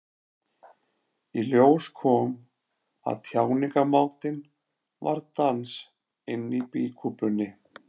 Í ljós kom að tjáningarmátinn var dans inni í býkúpunni.